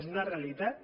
és una realitat